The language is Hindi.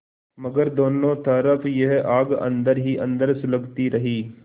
मगर दोनों तरफ यह आग अन्दर ही अन्दर सुलगती रही